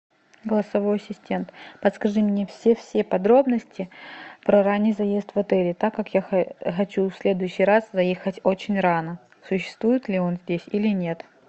голосовой ассистент подскажи мне все все подробности про ранний заезд в отеле так как я хочу в следующий раз заехать очень рано существует ли он здесь или нет